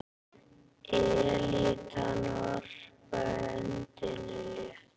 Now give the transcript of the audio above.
Elítan varpaði öndinni léttar.